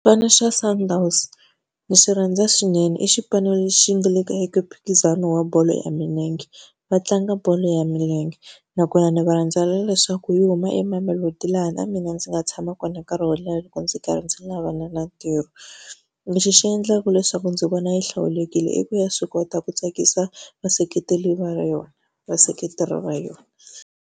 Xipano xa Sundowns ni xi rhandza swinene i xipano lexi nga le ka eka mphikizano wa bolo ya milenge, va tlanga bolo ya milenge. Nakona ni va rhandzela leswaku hi huma eMamelodi laha na mina mina ndzi nga tshama kona nkarhi wo leha loko ndzi karhi ndzi lavana na ntirho. Lexi xi endlaka leswaku ndzi vona yi hlawulekile i ku ya swi kota ku tsakisa va ra yona vaseketeri va yona.